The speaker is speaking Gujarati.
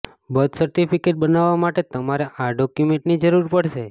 બર્થ સર્ટિફીકેટ બનાવવા માટે તમારે આ ડોક્યૂમેન્ટની જરૂર પડશે